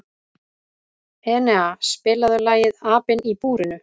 Enea, spilaðu lagið „Apinn í búrinu“.